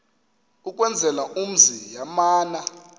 ukwenzela umzi yamana